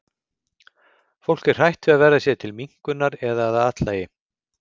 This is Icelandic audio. Fólk er hrætt við að verða sér til minnkunar eða að athlægi.